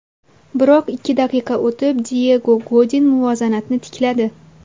Biroq ikki daqiqa o‘tib Diyego Godin muvozanatni tikladi.